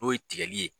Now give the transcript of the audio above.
N'o ye tigɛli ye